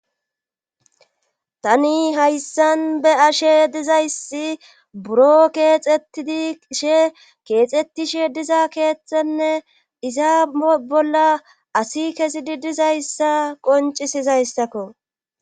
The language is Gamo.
tani hayssan be'ashe dizayssi buro keexetidishe keexettishe diza keeththenne iza bolla asi kezidi dizayssa qoncisizayssakko